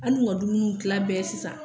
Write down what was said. An dun ka dumuni tila bɛɛ sisan